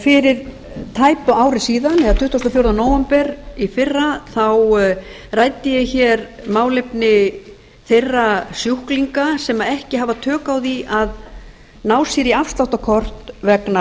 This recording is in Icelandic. fyrir tæpu ári síðan eða tuttugasta og fjórða nóvember í fyrra ræddi ég málefni þeirra sjúklinga sem ekki hafa tök á því að ná sér í afsláttarkort vegna